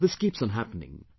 This keeps on happening